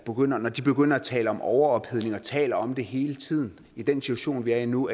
når de begynder at tale om overophedning og taler om det hele tiden i den situation vi er i nu